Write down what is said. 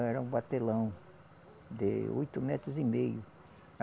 Era um batelão de oito metros e meio.